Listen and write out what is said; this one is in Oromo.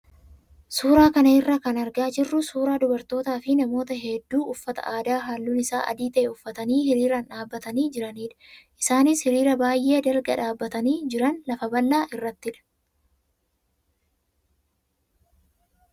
Suuraa kana irraa kan argaa jirru suuraa dubartootaa fi namoota hedduu uffata aadaa halluun isaa adii ta'e uffatanii hiriiraan dhaabbatanii jiranidha. Isaanis hiriira baay'ee dalga dhaabbatanii jiran lafa bal'aa irrattidha.